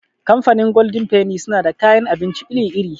Kamfanin golden feni suna da kayan abinci iri -iri.